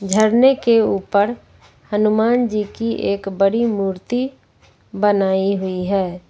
झरने के ऊपर हनुमान जी की एक बड़ी मूर्ति बनाई हुई है।